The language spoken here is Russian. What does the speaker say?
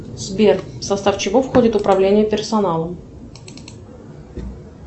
сбер в состав чего входит управление персоналом